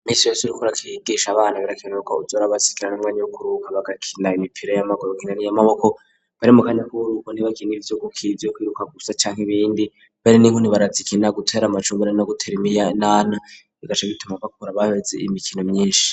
Imisi yos rikura kiyigisha abanta birakinurka uzora bazikirana rwanya bukurubuka bagakina imipira y'amagoro kinani y'amaboko bari mu kanya kuburuko ntibakiniriiz guki ibyo kwiruka gusa cyanke ibindi bare n'inku nti barazikina gutera amacumbire no guteremiya nana igacekituma bakura babeze imikino myinshi